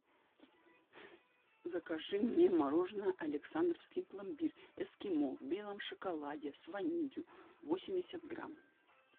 закажи мне мороженое александровский пломбир эскимо в белом шоколаде с ванилью восемьдесят грамм